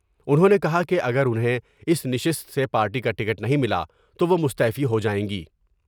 انہوں نے کہا کہ اگر انہیں اس نشست سے پارٹی کا ٹکٹ نہیں ملا تو وہ مستعفی ہو جائیں گی ۔